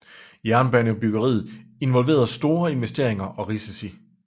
Jernbanebyggeriet involverede store investeringer og risici